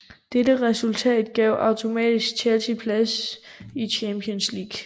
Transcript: Dette resultat gav automatisk Chelsea plads i Champions League